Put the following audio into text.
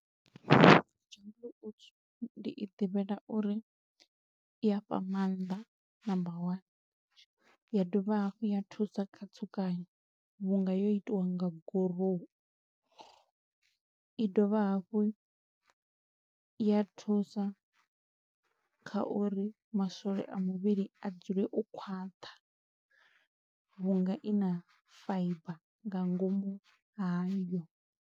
Jungle Oats ndi i ḓivhela uri i ya fha maanḓa number one, ya dovha hafhu ya thusa kha tsukanyo, vhunga yo itiwa nga gurowu, i dovha hafhu ya thusa kha uri maswole a muvhili a dzule o khwaṱha, vhunga i na fibre nga ngomu hayo.